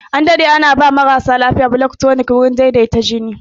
An daɗe ana ba marasa lafiya blood tunic dan ya taimaka wurin wanke da daidaita jini